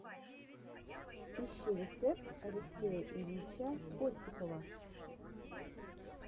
ищи рецепт алексея ильича осипова